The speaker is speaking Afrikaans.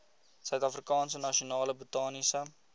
suidafrikaanse nasionale botaniese